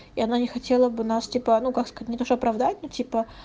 и она не хотела бы нас типа ну как сказать не то что оправдать ну типа